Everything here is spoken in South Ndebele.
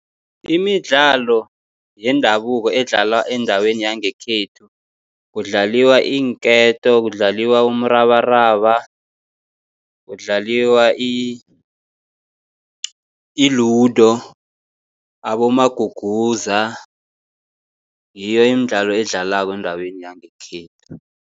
Imidlalo yendabuko edlalwa endaweni yangekhethu kudlalwa iinketo, kudlalwa umrabaraba, kudlalwa i-ludo, abomaguguza. Ngiyo imidlalo edlalwako endaweni yangekhethu.